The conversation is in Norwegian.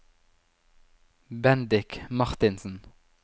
Bendik Marthinsen